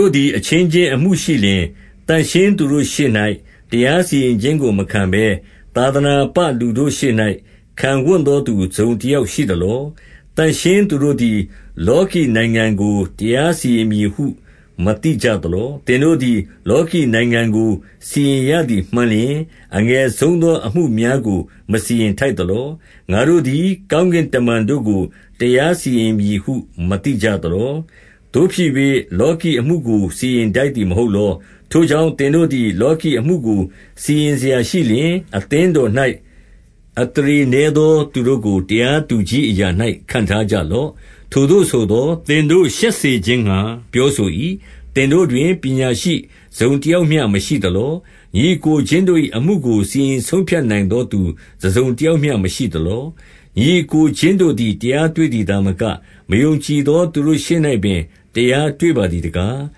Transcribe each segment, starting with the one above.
ို့သည် အချင်းချင်းအမှုရှိလျှင်၊ သန့်ရှင်းသူတို့ရှေ့၌ တရားစီရင်ခြင်းကို မခံဘဲသာသနာပ လူတို့ ရှေ့၌ ခံဝံ့သောသူတစုံတယောက်ရှိသလော။ 2 သန့်ရှင်းသူတို့သည် လောကီနိုင်ငံကို တရား စီရင်မည်ဟု မသိကြသလော။ သင်တို့သည် လောကီနိုင်ငံ ကို စီရင်ရသည်မှန်လျှင်၊ အငယ်ဆုံးသော အမှုများကို မစီရင်ထိုက်သလော။ 3 ငါတို့သည်ကောင်းကင်တမန်တို့ကို တရားစီရင်မည်ဟု မသိကြသလော။ သို့ဖြစ်၍ လောကီအမှုကို စီရင်ထိုက်သည်မဟုတ်လော။ 4 ထိုကြောင့် သင်တို့သည် လောကီအမှုကို စီရင် စရာရှိလျှင်၊ အသင်းတော်၌ အသရေနည်းသောသူတို့ကို တရားသူကြီးအရာ၌ ခန့်ထားကြလော့။ 5 ထိုသို့ဆိုသော်၊ သင်တို့ရှက်စေခြင်းငှါ ပြောဆို၏။ သင်တို့တွင် ပညာရှိတစုံတယောက်မျှ မရှိသလော။ ညီအစ်ကိုချင်းတို့၏ အမှုကို စီရင်ဆုံးဖြတ်နိုင်သောသူ တစုံတယောက်မျှမရှိသလော။ 6 ညီအစ်ကိုချင်းတို့သည် တရားတွေ့သည် သာမက၊ မယုံကြည်သော သူတို့ရှေ့၌ပင် တရားတွေ့ပါ သည်တကား။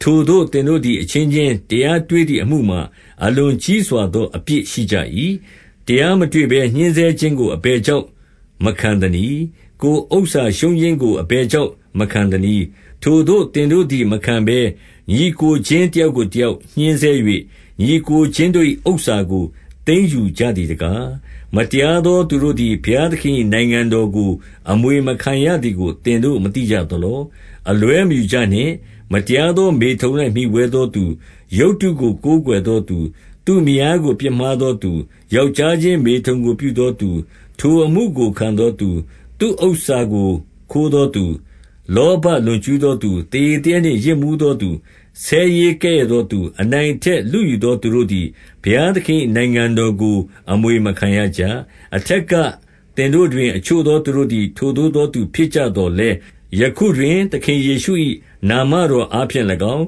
7 ထိုသို့သင်တို့သည် အချင်းချင်းတရားတွေ့သည် အမှုမှာ အလွန်ကြီးစွာသော အပြစ်ရှိကြ၏။ တရား မတွေ့ဘဲ ညှဉ်းဆဲခြင်းကို အဘယ်ကြောင့်မခံသနည်း။ 8 ကိုယ်ဥစ္စာရှုံးခြင်းကို အဘယ်ကြောင့် မခံသနည်း။ ထိုသို့ သင်တို့သည် မခံဘဲ၊ ညီအစ်ကိုချင်း တယောက်ကိုတယောက်ညှင်းဆဲ၍၊ ညီအစ်ကိုချင်းတို့၏ ဥစ္စာကိုသိမ်းယူကြသည်တကား၊ 9 မတရားသောသူတို့သည် ဘုရားသခင်၏ နိုင်ငံတော်ကို အမွေမခံရသည်ကို သင်တို့မသိကြ သလော။ အလွဲမယူကြနှင့်။ မတရားသော မေထုန်၌ မှီဝဲသောသူ၊ ရုပ်တုကိုကိုးကွယ်သောသူ၊ သူ့မယားကို ပြစ်မှားသောသူ၊ ယောက်ျားချင်းမေထုန်ကိုပြုသောသူ၊ ထိုအမှုကိုခံသောသူ၊ 10 သူ့ဥစ္စာကိုခိုးသောသူ၊ လောဘလွန်ကျူးသောသူ၊ သေရည်သေရက်နှင့်ယစ်မူးသောသူ၊ ဆဲရေးကဲ့ရဲ့သောသူ၊ အနိုင်အထက်လုယူသော သူတို့သည် ဘုရားသခင်၏ နိုင်ငံတော်ကို အမွေမခံရကြ။ 11 အထက်ကသင်တို့တွင် အချို့သောသူတို့သည် ထိုသို့သောသူဖြစ်ကြသော်လည်း၊ ယခုတွင်သခင်ယေရှု၏ နာမတော်အားဖြင့်၎င်း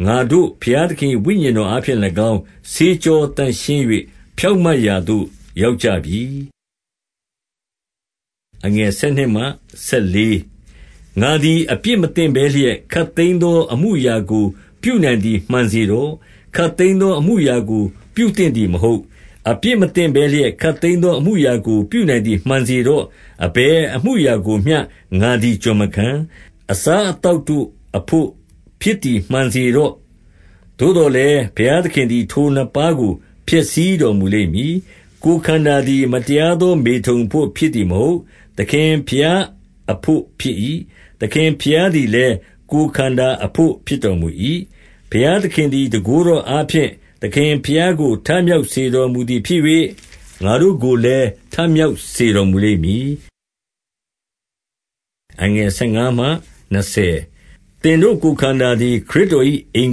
၊ ငါတို့ဘုရားသခင်၏ ဝိညာဉ် တော်အားဖြင့်၎င်း၊ ဆေးကြောသန့်ရှင်း၍ ဖြောင့်မတ်ရာ သို့ ရောက်ကြပြီ။ 12 ငါသည် အပြစ်မသင့်ဘဲလျက်ခပ်သိမ်းသော အမှုအရာကို ပြုနိုင်သည် မှန်စေတော့။ ခပ်သိမ်းသော အမှုအရာကို ပြုသင့်သည်မဟုတ်။ အပြစ်မသင့်ဘဲလျက် ခပ်သိမ်းသော အမှုအရာကိုပြုနိုင်သည်မှန်စေတော့။ အဘယ်အမှုအရာ၌မျှ ငါသည်ကျွန်မခံ။ 13 အစားအသောက်တို့သည် ဝမ်းအဘို့၊ ဝမ်းသည်လည်း အစားအသောက်တို့ အဘို့ဖြစ်သည်မှန်စေတော့။ သို့သော်လည်း ဘုရားသခင်သည် ထိုနှစ်ပါးကို ဖျက်ဆီးတော်မူလိမ့်မည်။ ကိုယ်ခန္ဓာသည် မတရားသော မေထုန် အဘို့ဖြစ်သည်မဟုတ်။ သခင်ဘုရားအဘို့ဖြစ်၏။ သခင် ဘုရားသည်လည်း ကိုယ်ခန္ဓာအဘို့ ဖြစ်တော်မူ၏။ 14 ဘုရားသခင်သည် တန်ခိုးတော်အားဖြင့် သခင် ဘုရားကို ထမြောက်စေတော်မူသည်ဖြစ်၍၊ ငါတို့ကိုလည်း ထမြောက်စေတော်မူလိမ့်မည်။ 15 သင်တို့ကိုယ်ခန္ဓာသည် ခရစ်တော်၏ အင်္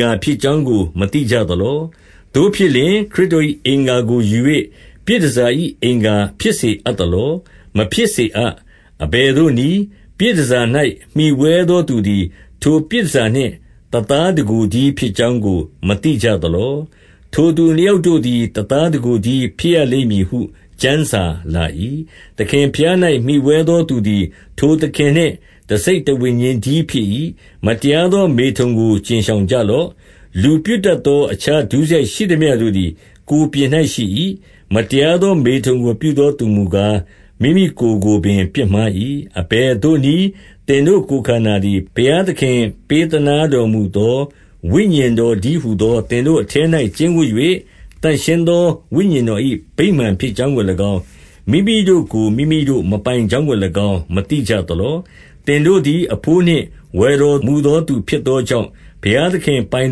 ဂါဖြစ်ကြောင်းကို မသိကြသလော။ သို့ဖြစ်လျှင်၊ ခရစ်တော်၏ အင်္ဂါကိုယူ၍ ပြည်တန်ဆာ၏ အင်္ဂါဖြစ်စေအပ် သလော။ မဖြစ်စေအပ်။ 16 အဘယ်သို့နည်း။ ပြည်တန်ဆာ၌ မှီဝဲသောသူသည် ထိုပြည်တန်ဆာနှင့် တသားတကိုယ်တည်း ဖြစ်ကြောင်းကို မသိကြသလော။ ထိုသူ နှစ်ယောက်တို့သည် တသားတကိုယ်တည်း ဖြစ်ရလိမ့်မည်ဟု ကျမ်းစာလာ၏။ 17 သခင်ဘုရား၌မှီဝဲသော သူသည် ထိုသခင်နှင့် တစိတ်တဝိညာဉ်တည်းဖြစ်၏။ 18 မတရားသောမေထုန်ကိုကြဉ်ရှောင်ကြလော့။ လူပြုတတ်သော အခြားဒုစရိုက် ရှိသမျှတို့သည် ကိုယ်ပြင် ၌ရှိ၏။ မတရားသော မေထုန်ကို ပြုသောသူမူကား၊ မိမိကိုယ်ကိုပင်ပြစ်မှား၏။ 19 အဘယ်သို့နည်း။ သင်တို့ကိုယ်ခန္ဓာသည် ဘုရားသခင် ပေးသနားတော်မူသော ဝိညာဉ်တော်တည်း ဟူသော၊ သင်တို့အထဲ၌ ကျိန်းဝပ်၍ သန့်ရှင်းသော ဝိညာဉ်တော်၏ ဗိမာန်ဖြစ်ကြောင်းကို၎င်း၊ မိမိတို့ကို မိမိတို့မပိုင်ကြောင်းကို၎င်း၊ မသိကြသလော။ 20 သင်တို့သည် အဘိုးနှင့် ဝယ်တော်မူသော သူဖြစ်သောကြောင့်၊ ဘုရားသခင်ပိုင်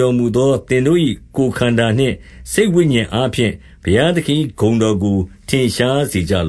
တော်မူသော သင်တို့၏ ကိုယ်ခန္ဓာနှင့် စိတ်ဝိညာဉ်အားဖြင့် ဘုရားသခင်၏ ဂုဏ်တော်ကိုထင်ရှားစေကြလ